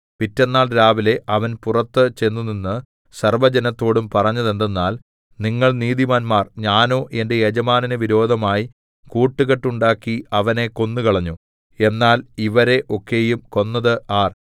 പിറ്റെന്നാൾ രാവിലെ അവൻ പുറത്തു ചെന്നുനിന്ന് സർവ്വജനത്തോടും പറഞ്ഞതെന്തെന്നാൽ നിങ്ങൾ നീതിമാന്മാർ ഞാനോ എന്റെ യജമാനന് വിരോധമായി കൂട്ടുകെട്ടുണ്ടാക്കി അവനെ കൊന്നുകളഞ്ഞു എന്നാൽ ഇവരെ ഒക്കെയും കൊന്നത് ആർ